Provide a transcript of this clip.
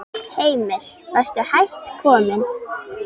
Heimir: Varstu hætt kominn?